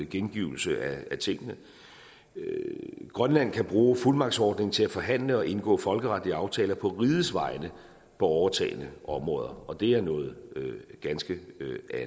gengivelse af tingene grønland kan bruge fuldmagtsordning til at forhandle og indgå folkeretlige aftaler på rigets vegne på overtagne områder og det er noget ganske